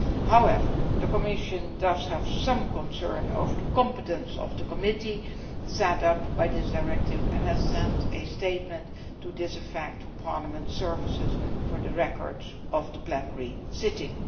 However, the Commission does have some concern over the competence of the committee set up by this directive and has sent a statement to this effect to Parliament's services for the records of the plenary sitting.